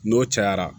N'o cayara